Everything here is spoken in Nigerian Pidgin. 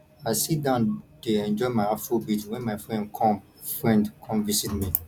i sit down dey enjoy my afrobeat wen my friend come friend come visit me